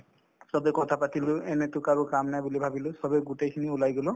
চবে কথা পাতিলো এনেতো আৰু কাম নাই বুলি ভাবিলো চবে গোটেইখিনি ওলাই গলো